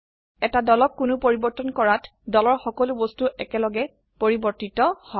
এটা দলক কোনো পৰিবৰ্তন কৰাত দলৰ সকলো বস্তু একেলগে পৰিবৰ্তিত হয়